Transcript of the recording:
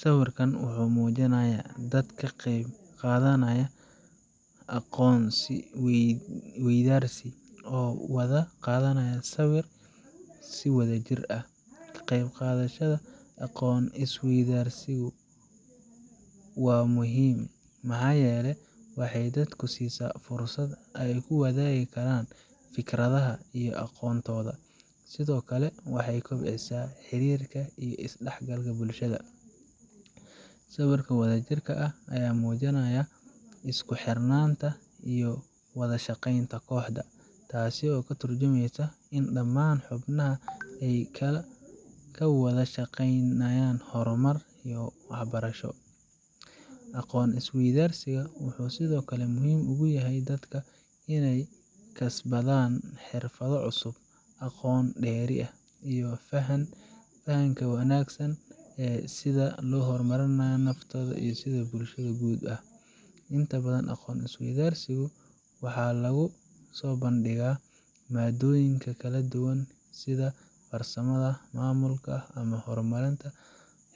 Sawirkan wuxuu muujinayaa dad ka qayb qaadanaya aqoon is weydaarsi, oo wada qaadaya sawir si wadajir ah. Ka qayb qaadashada aqoon is weydaarsiyadu waa muhiim, maxaa yeelay waxay dadka siisaa fursad ay ku wadaagi karaan fikradaha iyo aqoontooda, sidoo kale waxay kobcisaa xiriirka iyo iskaashiga bulshada. Sawirka wadajirka ah wuxuu muujinayaa isku xirnaanta iyo wada shaqeynta kooxda, taasoo ka tarjumeysa in dhammaan xubnaha ay ka wada shaqeynayaan horumar iyo barasho. Aqoon is weydaarsiga wuxuu sidoo kale muhiim u yahay dadka inay kasbadaan xirfado cusub, aqoon dheeri ah, iyo faham ka wanaagsan ee sida loo horumariyo naftooda iyo bulshada guud ahaan. Inta badan, aqoon is weydaarsiyada waxaa lagu soo bandhigaa maaddooyin kala duwan sida farsamada, maamulka, ama horumarinta